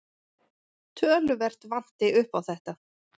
Töluvert vanti upp á þetta.